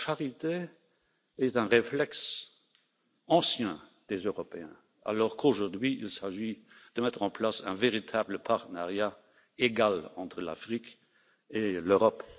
La charité est un réflexe ancien des Européens, alors qu'aujourd'hui, il s'agit de mettre en place un véritable partenariat d'égal à égal entre l'Afrique et l'Europe.